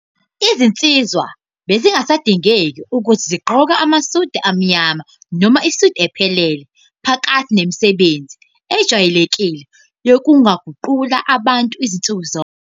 Izinsizwa bezingasadingeki ukuthi zigqoke amasudi amnyama noma isudi ephelele phakathi nemisebenzi ejwayelekile yokuguqula abantu nsuku zonke.